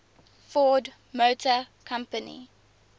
ford motor company